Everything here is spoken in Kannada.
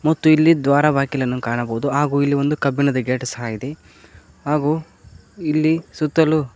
ಮತ್ತು ಇಲ್ಲಿ ದ್ವಾರ ಬಾಗಿಲನ್ನು ಕಾಣಬಹುದು ಹಾಗು ಇಲ್ಲಿ ಒಂದು ಕಬ್ಬಿಣದ ಗೇಟ್ ಸಹ ಇದೆ ಹಾಗು ಇಲ್ಲಿ ಸುತ್ತಲೂ--